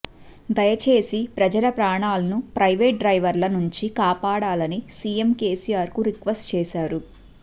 దయచేసి ప్రజల ప్రాణాలను ప్రైవేట్ డ్రైవర్ల నుంచి కాపాడాలని సీఎం కేసీఆర్ కు రిక్వెస్ట్ చేశారు